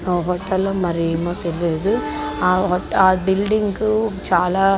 ఆ హోటలో మరి ఏమో తేలీదు.ఆ బిల్డింగు చాలా--